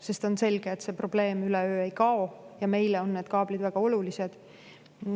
Sest on selge, et see probleem üleöö ei kao, aga meile on need kaablid väga olulised.